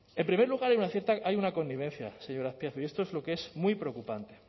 en primer lugar hay una cierta hay una connivencia señor azpiazu y esto es lo que es muy preocupante